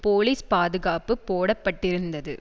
police பாதுகாப்பு போட பட்டிருந்தது